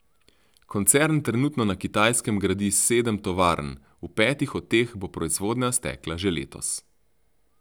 Koncern trenutno na Kitajske gradi sedem tovarn, v petih od teh bo proizvodnja stekla že letos.